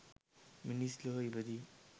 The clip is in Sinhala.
මිනිස් ලොව ඉපදීම